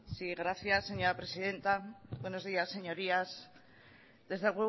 sí gracias señora presidente buenos días señorías desde el